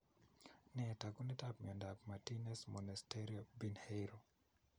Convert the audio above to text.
Nee taakunetaab myondap Martinez Monasterio Pinheiro?